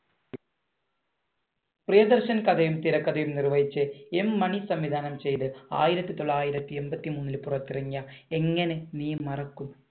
പ്രിയദർശൻ കഥയും തിരക്കഥയും നിർവഹിച്ച് N മണി സംവിധാനം ചെയ്തു ആയിരത്തി തൊള്ളായിരത്തി എൺപത്തി മൂന്നിൽ പുറത്തിറങ്ങിയ ‘എങ്ങനെ നീ മറക്കും’